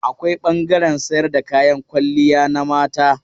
Akwai ɓangaren sayar da kayan kwalliya na mata.